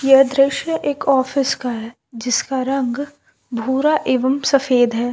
ये दृश्य एक ऑफिस का है जिसका रंग भूरा एवं सफेद है।